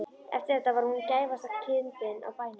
Eftir þetta var hún gæfasta kindin á bænum.